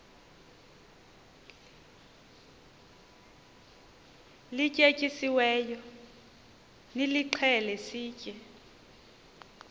lityetyisiweyo nilixhele sitye